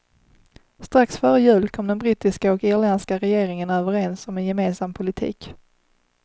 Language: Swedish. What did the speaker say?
Strax före jul kom den brittiska och irländska regeringen överens om en gemensam politik.